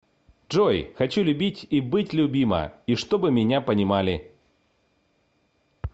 джой хочу любить и быть любима и чтобы меня понимали